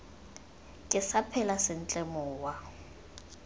ke sa phela sentle mowa